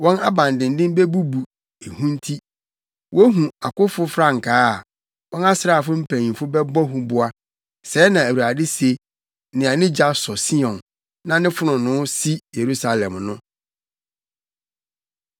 Wɔn abandennen bebubu, ehu nti; wohu akofo frankaa a, wɔn asraafo mpanyimfo bɛbɔ huboa,” sɛɛ na Awurade se, nea ne gya wɔ Sion, na ne fononoo si Yerusalem no.